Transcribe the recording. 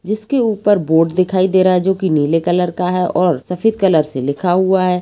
जिसके ऊपर बोर्ड दिखाई दे रहा है जोकी नीले कलर का है और सफेद कलर से लिखा हुआ है।